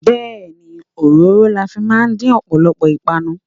Bẹẹni, òróró la fi máa ń dín ọ̀pọ̀lọpọ̀ ìpànu.